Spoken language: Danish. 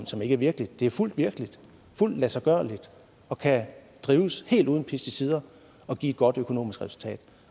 som ikke er virkeligt det er fuldt virkeligt fuldt ladsiggørligt og kan drives helt uden pesticider og give et godt økonomisk resultat